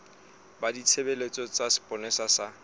ba ditshebeletso tsa sepolesa sa